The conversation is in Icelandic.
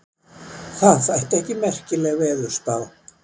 Það þætti ekki merkileg veðurspá.